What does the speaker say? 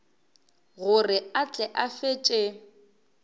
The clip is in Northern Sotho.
gore a tle a fetše